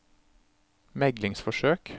meglingsforsøk